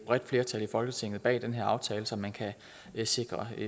bredt flertal i folketinget bag den her aftale så man kan sikre